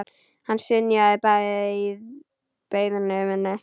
Hann synjaði beiðni minni.